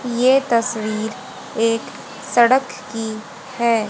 ये तस्वीर एक सड़क की है।